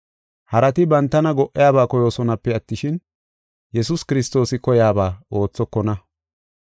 Harati bantana go77iyabaa koyoosonape attishin, Yesuus Kiristoosi koyaba oothokona.